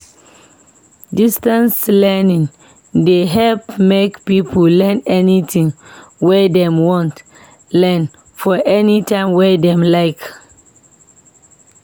Distance learning dey help make people learn anything wey dem wan learn for any time wey dem like.